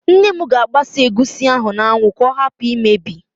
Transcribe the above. Nne m ga-agbasa egusi ahụ n'anwụ ka ọ hapụ imebi